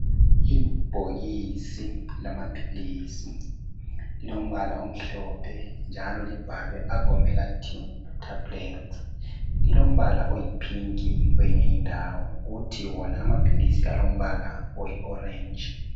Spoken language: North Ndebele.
Ibhokisi lamaphilisi lilo mbala omhlophe njalo libhalwe agomelatine tablets .Lilombala oyipink kweyinye indawo kuthi wona amaphilisi alombala oyiorange .